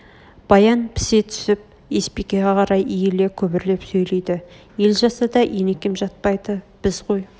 баян пісе түсіп есбикеге қарай иле күбрлеп сөйлейді ел жатса да енекем жатпайды біз ғой